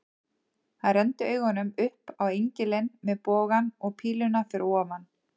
Hann renndi augunum upp á engilinn með bogann og píluna fyrir ofan.